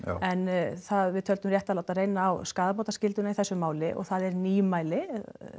en við töldum rétt að láta reyna á skaðabótaskylduna í þessu máli og það er ný mæli